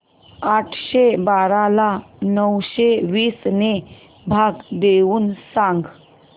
आठशे बारा ला नऊशे वीस ने भाग देऊन सांग